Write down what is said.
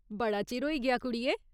बड़ा चिर होई गेआ, कुड़िये।